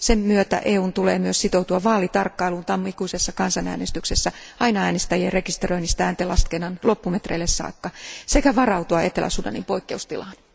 Sen myötä EUn on myös sitouduttava vaalitarkkailuun tammikuisessa kansanäänestyksessä, aina äänestäjien rekisteröinnistä ääntenlaskennan loppumetreille saakka, sekä varauduttava Etelä Sudanin poikkeustilaan.